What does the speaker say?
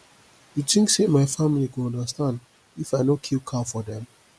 you tink sey my family go understand if i no kill cow for dem